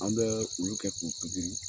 An bɛ olu kɛ k'u